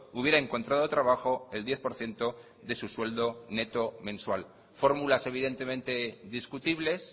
hubiera encontrado trabajo el diez por ciento de su sueldo neto mensual formulas evidentemente discutibles